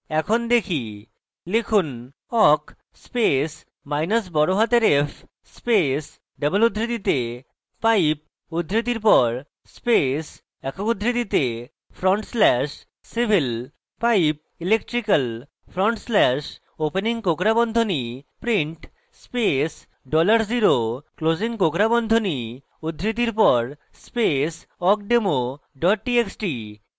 এখন দেখি লিখুন awk space মাইনাস বড়হাতের f space double উদ্ধৃতিতে pipe উদ্ধৃতির পর space awk উদ্ধৃতিতে front slash civil pipe electrical front slash opening কোঁকড়া বন্ধনী print space dollar0 closing কোঁকড়া বন্ধনী উদ্ধৃতির পর space awkdemo double txt